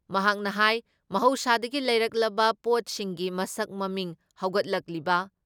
ꯃꯍꯥꯛꯅ ꯍꯥꯏ ꯃꯍꯧꯁꯥꯗꯒꯤ ꯂꯩꯔꯛꯂꯕ ꯄꯣꯠꯁꯤꯡꯒꯤ ꯃꯁꯛ ꯃꯃꯤꯡ ꯍꯧꯒꯠꯂꯛꯂꯤꯕ